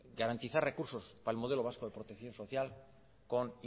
garantizar recursos para el modelo vasco de protección social con